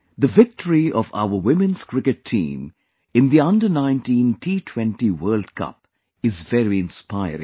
The victory of our women's cricket team in the Under19 T20 World Cup is very inspiring